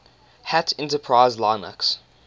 hat enterprise linux